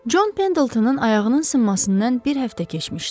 Con Pendletonun ayağının sınmasından bir həftə keçmişdi.